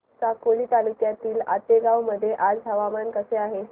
साकोली तालुक्यातील आतेगाव मध्ये आज हवामान कसे आहे